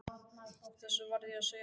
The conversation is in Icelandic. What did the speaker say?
Þessu varð ég að segja Sölva frá.